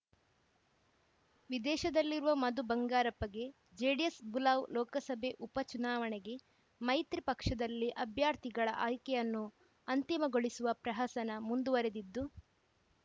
ವಿದೇಶದಲ್ಲಿರುವ ಮಧು ಬಂಗಾರಪ್ಪಗೆ ಜೆಡಿಎಸ್‌ ಬುಲಾವ್‌ ಲೋಕಸಭೆ ಉಪ ಚುನಾವಣೆಗೆ ಮೈತ್ರಿ ಪಕ್ಷದಲ್ಲಿ ಅಭ್ಯರ್ಥಿಗಳ ಆಯ್ಕೆಯನ್ನು ಅಂತಿಮಗೊಳಿಸುವ ಪ್ರಹಸನ ಮುಂದುವರೆದಿದ್ದು